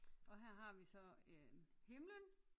Og her har vi så øh himlen